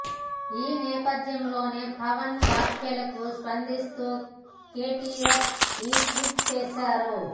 ఈ నేపథ్యంలోనే పవన్ వ్యాఖ్యలకు స్పందిస్తూ కేటీఆర్ ఈ ట్వీట్ చేశారు